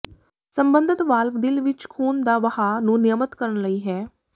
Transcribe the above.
ਸਬੰਧਤ ਵਾਲਵ ਦਿਲ ਵਿੱਚ ਖ਼ੂਨ ਦਾ ਵਹਾਅ ਨੂੰ ਿਨਯਮਤ ਕਰਨ ਲਈ ਹੈ